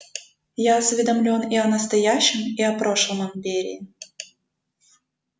я осведомлён и о настоящем и о прошлом империи